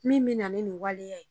Min be na ni nin waleya ye.